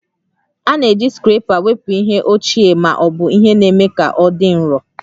A na-eji scraper wepụ ihe ochie agba ma ọ bụ ihe na-eme ka ọ dị nro